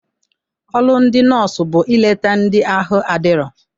Ọrụ ndị nọọsụ bụ ileta ndị ahụ adirọ.